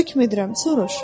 Hökm edirəm, soruş!